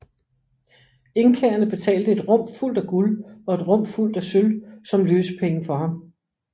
Inkaerne betalte et rum fuldt af guld og et rum fuldt af sølv som løsepenge for ham